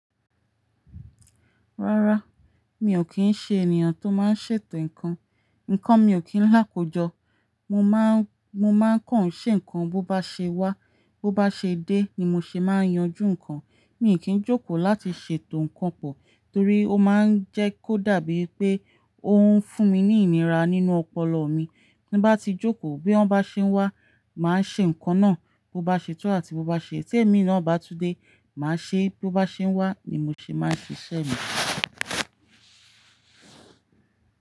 Rárá, mi ò kí ń ṣe ènìyàn tó máa ń ṣètò ǹkan. Nǹkan mi ò kí ń láko jó. Mo máa ń, mo máa ń kàn ṣe ǹkan bó bá ṣe wá, bó bá ṣe dé ni mo ṣe máa ń yanjú ǹkan. Mi ò kí ń jókòó láti ṣètò ǹkan pọ̀. Torí ó máa ń jẹ́ kó dàbí pé ó ń fún mi ní ìnira nínú ọpọlọ mi. Bí bá ti jókòó bí ó bá ṣe ń wá,. Màá ṣe ǹkan náà. Bó bá ṣe tú àti bó bá ṣe tó, èmi ló bá tún dé, màá ṣe é bó bá ṣe ń wá ni mo ṣe máa ń ṣíṣe mi.